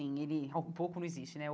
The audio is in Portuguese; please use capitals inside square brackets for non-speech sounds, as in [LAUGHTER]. Ele [UNINTELLIGIBLE] Um pouco não existe né.